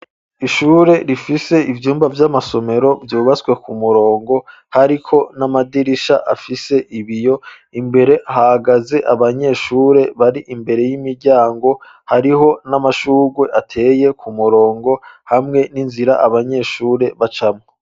Ishure rifise ivyumba vy'amasomero vyubatswe ku murongo hariko n'amadirisha afise ibiyo imbere hagaze abanyeshure bari imbere y'imiryango hariho n'amashurwe ateye ku murongo hamwe n'inzira abanyeshure bacamwo.